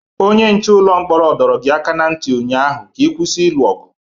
Onye nche ụlọ mkpọrọ dọrọ gị aka ná ntị ụnyaahụ ka ị kwụsị ilu ọgụ!